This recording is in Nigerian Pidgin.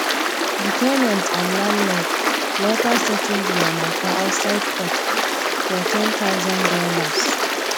di ten ant and landlord later settle dia mata outside court for ten thousand dollars